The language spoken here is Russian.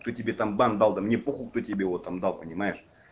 что тебе там банк дал да мне похую кто тебе вот там дал понимаешь